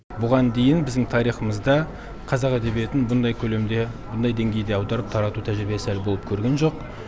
бұған дейін біздің тарихымызда қазақ әдебиетін бұндай көлемде бұндай деңгейде аударып тарату тәжірибесі әлі болып көрген жоқ